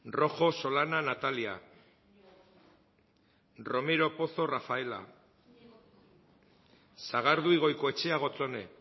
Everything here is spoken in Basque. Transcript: rojo solana natalia romero pozo rafaela sagardui goikoetxea gotzone